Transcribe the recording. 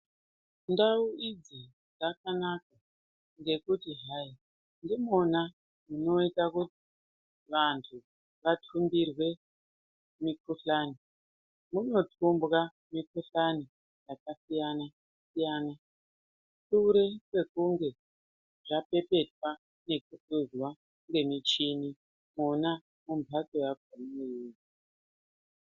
Ndau idzo dzakanaka ngekuti hai ndimona munota kuti vantu vatumbirwe mukuhlani. Munotumbwa mikuhlani yakasiyana-siyana, sure kwekunge zvapepetwa nekuhluzwa ngemichini mona mumhatso yakona iyoyiyi.